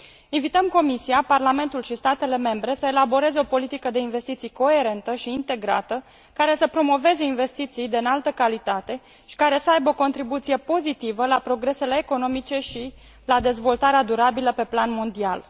Invităm Comisia, Parlamentul și statele membre să elaboreze o politică de investiții coerentă și integrată, care să promoveze investiții de înaltă calitate și care să aibă o contribuție pozitivă la progresele economice și la dezvoltarea durabilă pe plan mondial.